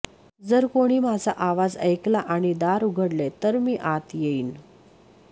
जर कोणी माझा आवाज ऐकला आणि दार उघडले तर मी आत येईन